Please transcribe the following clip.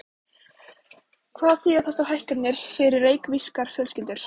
Hvað þýða þessar hækkanir fyrir reykvískar fjölskyldur?